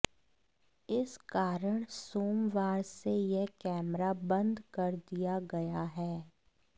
इस कारण सोमवार से यह कैमरा बंद कर दिया गया है